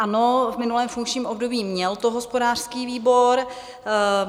Ano, v minulém funkčním období to měl hospodářský výbor.